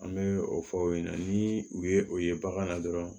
An bɛ o fɔ o ɲɛna ni u ye o ye bagan na dɔrɔn